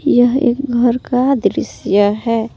यह एक घर का दृश्य है।